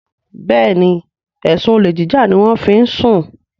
Béèni ẹsùn olè jíjà ní wón fí ń sún